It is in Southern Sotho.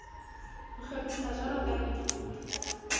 ho hlophiswa jwalo ka dithuto